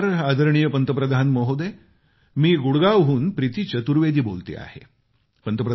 नमस्कार आदरणीय पंतप्रधान महोदय मी गुरगावहून प्रीती चतुर्वेदी बोलते आहे